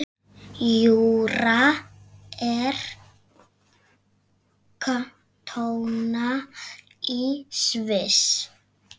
Júra er kantóna í Sviss.